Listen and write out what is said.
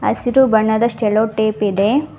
ಹಸಿರು ಬಣ್ಣದ cello tape ಇದೆ.